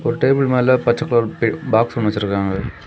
ஒரு டேபிள் மேல பச்ச பல் எ பாக்ஸ் ஒன்னு வச்சிருக்காங்க.